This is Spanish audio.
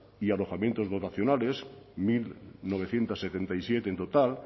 y alojamientos dotacionales mil novecientos setenta y siete en total